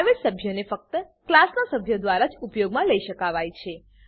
private સભ્યોને ફક્ત ક્લાસનાં સભ્યો દ્વારા જ ઉપયોગમાં લઇ શકાવાય છે